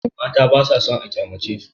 Mata basa sann a kyamacesu.